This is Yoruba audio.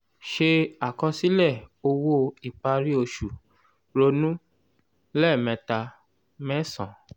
se àkọsílẹ̀ owó ìparí oṣù ronú ( lẹ́ẹ̀mẹta ) mẹ́san.